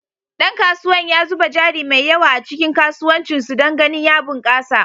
Dan kasuwan ya zuba jari mai yawa a cikin kasuwancin su don ganin ya bunkasa.